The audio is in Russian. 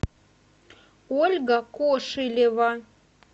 ольга кошелева